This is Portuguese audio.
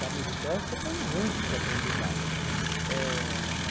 Da militância tem muitos aprendizados. Eh